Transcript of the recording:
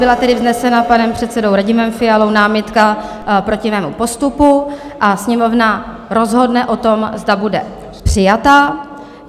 Byla tedy vznesena panem předsedou Radimem Fialou námitka proti mému postupu a Sněmovna rozhodne o tom, zda bude přijata.